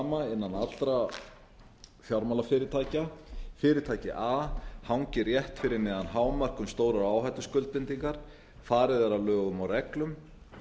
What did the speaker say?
er sú sama innan allra fjármálafyrirtækja fyrirtæki a hangir rétt fyrir neðan hámark um stórar áhættuskuldbindingar farið er að lögum og reglum